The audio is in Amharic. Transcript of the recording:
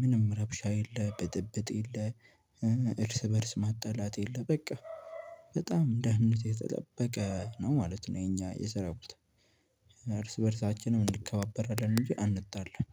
ምንም ረብሻ የለም በጥብጥ የለም እርስ በእርስ ማጣላት የለም። በቃ በጣም ደህንነቱ የተጠበቀ ነው ማለት ነው። የኛ የሰራባታ እርስ በእርሳችንም እንከባበራለን። እንጂ አንጣላም።